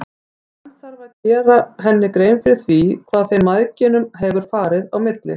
Hann þarf að gera henni grein fyrir því hvað þeim mæðginum hefur farið á milli.